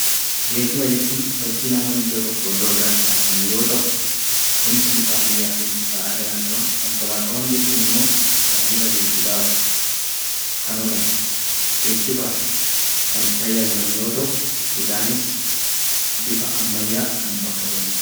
Geejjiba jechuun sochii namoonni iddoo tokkoo iddo biraatti taasisan yoo ta'u; kunis bifa ammayyaa fi bifa aadaa qaba. Konkolaataawwan jechuun immoo baay'ina geejjibaaf kan oolan, geejjibaaf kan itti tajaajilamnu yoo ta'u, isaanis bifa ammayyaa kan bakka bu'anu dha.